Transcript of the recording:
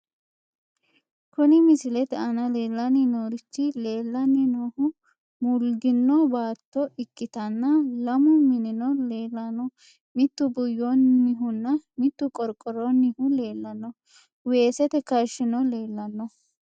Kuni misilete aana leellanni noorichi leellanni noohu mulluuggino baatto ikkitanna, lamu minino leellanno mittu buuyyonihunna mittu qorqorronnihu leellanno weesete kaashshino leellanno.